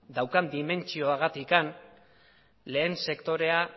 daukan dimentsioarengatik lehen sektorea